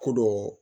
Ko dɔ